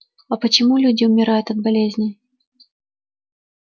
а почему люди умирают от болезней